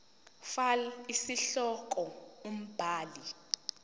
fal isihloko umbhali